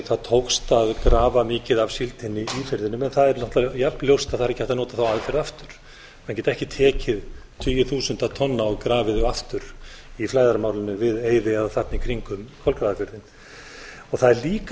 það tókst að grafa mikið af síldinni í firðinum en það er náttúrlega jafn ljóst að það er ekki hægt að nota þá aðferð aftur menn geta ekki tekið tugi þúsunda tonna og grafið aftur í flæðarmálinu við eyðið eða þarna í kringum kolgrafafjörðinn það er líka